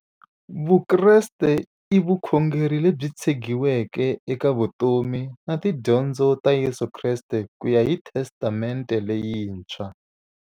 Vukreste i vukhongeri lebyi tshegiweke eka vutomi na tidyondzo ta Yesu Kreste kuya hi Testamente leyintshwa.